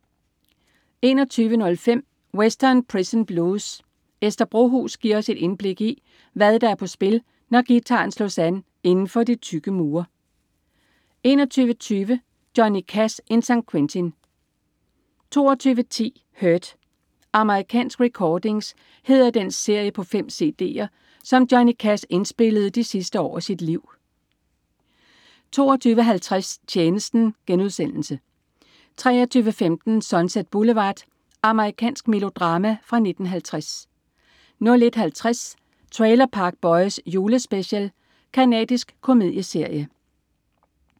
21.05 Western Prison Blues. Ester Brohus giver os et indblik i, hvad der er på spil, når guitaren slås an inden for de tykke mure 21.20 Johnny Cash in San Quentin 22.10 Hurt. American Recordings hedder den serie på 5 cd'ere, som Johnny Cash indspillede de sidste år af sit liv 22.50 Tjenesten* 23.15 Sunset Boulevard. Amerikansk melodrama fra 1950 01.50 Trailer Park Boys. Julespecial. Canadisk komedieserie